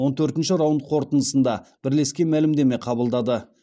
он төртінші раунд қорытындысында бірлескен мәлімдеме қабылдады